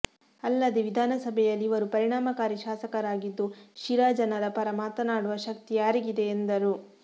ಅಲ್ಲದೆ ವಿಧಾನಸಭೆಯಲ್ಲಿ ಇವರು ಪರಿಣಾಮಕಾರಿ ಶಾಸಕರಾಗಿದ್ದು ಶಿರಾ ಜನರ ಪರ ಮಾತನಾಡುವ ಶಕ್ತಿ ಯಾರಿಗಿದೆ ಎಂದರು